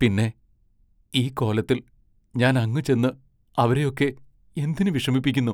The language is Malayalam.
പിന്നെ, ഈ കോലത്തിൽ, ഞാൻ അങ്ങു ചെന്ന് അവരെയൊക്കെ എന്തിനു വിഷമിപ്പിക്കുന്നു?